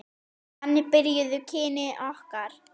Þannig byrjuðu kynni okkar.